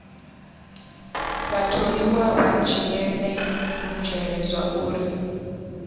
vhatholiwa vha dzhiele nzhele zwauri